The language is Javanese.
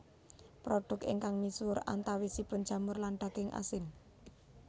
Produk ingkang misuhur antawisipun jamur lan daging asin